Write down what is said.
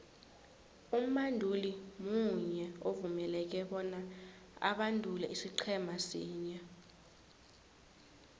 umbanduli munye uvumeleke bona abandule isiqhema sinye